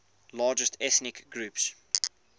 largest ethnic groups